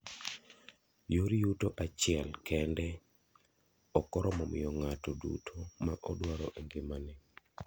Yor yuto achiel kendo okoromo miyo ngato duto ma odwaro e ngima.